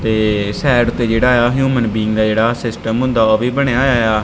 ਤੇ ਸਾਈਡ ਤੇ ਜਿਹੜਾ ਆ ਹਿਊਮਨ ਬੀੰਗ ਦਾ ਜਿਹੜਾ ਸਿਸਟਮ ਹੁੰਦਾ ਉਹ ਵੀ ਬਣਿਆ ਹੋਇਆ ਆ।